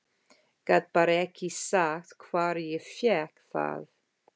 Gat bara ekki sagt hvar ég fékk það.